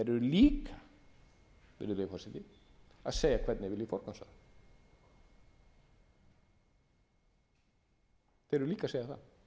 líka virðulegi forseti að segja hvernig þeir vilji forgangsraða þeir eru líka að segja það